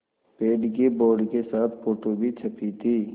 पेड़ की बोर्ड के साथ फ़ोटो भी छपी थी